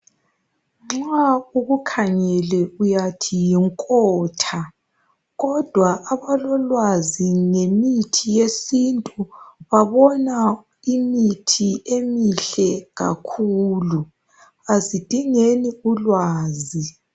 Nxa ukukhangele uyathi yinkotha, kodwa abalolwazi ngemithi yesintu babona imithi emihlhle kakhulu, asidingeni ulwazi.